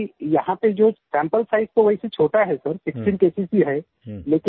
और अभी यहाँ पे जो सैंपल साइज तो वैसे छोटा है सर 16 केसेस ही है